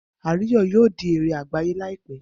Ayo, yoo di ere agbaye laipẹ